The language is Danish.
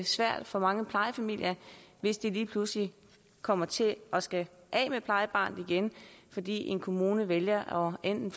svært for mange plejefamilier hvis de lige pludselig kommer til at skulle af med plejebarnet igen fordi en kommune vælger enten